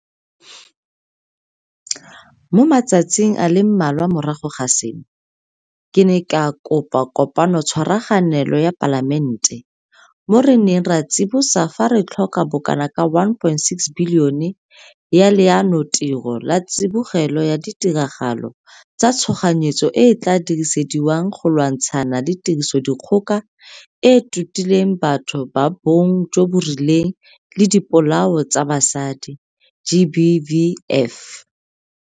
Mo matsatsing a le mmalwa morago ga seno, ke ne ka kopa Kopanotshwaraganelong ya Palamente, mo re neng ra tsibosa fa re tla tlhoka bokanaka 1.6 bilione ya Leanotiro la Tsibogelo ya Ditiragalo tsa Tshoganyetso e e tla dirisediwang go lwantshana le Tirisodikgoka e e Totileng Batho ba Bong jo bo Rileng le Dipolao tsa Basadi GBVF.